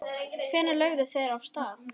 Hvenær lögðu þeir af stað?